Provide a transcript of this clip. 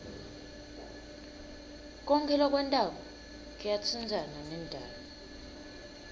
konkhe lokwentako kuyatsintsana nendalo